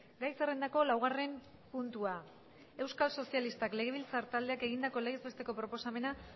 gai zerrendako laugarren puntua euskal sozialistak legebiltzar taldeak egindako legez besteko proposamena